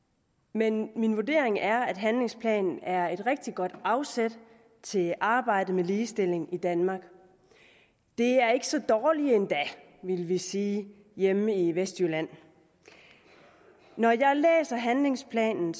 men min vurdering er at handlingsplanen er et rigtig godt afsæt til arbejdet med ligestilling i danmark det er ikke så dårligt endda ville vi sige hjemme i vestjylland når jeg læser handlingsplanen